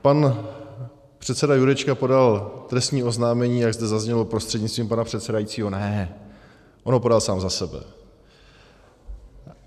Pan předseda Jurečka podal trestní oznámení, jak zde zaznělo "prostřednictvím pana předsedajícího" - ne, on ho podal sám za sebe.